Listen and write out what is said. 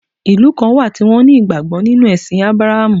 Ìlú kan wà tí won ní ìgbàgbó nínú èsìn Abrahamu